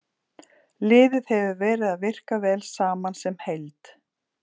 Liðið hefur verið að virka vel saman sem heild.